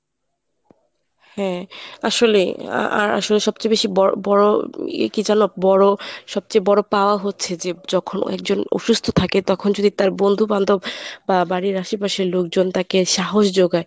হ্যাঁ আসলেই আহ আসলে সবচেয়ে বেশি ব~বড় ইয়ে কী জানো? বড় সবচেয়ে বড় পাওয়া হচ্ছে যে যখন একজন অসুস্থ থাকে তখন যদি তার বন্ধু-বান্ধব বা বাড়ির আশেপাশের লোকজন তাকে সাহস যোগায়।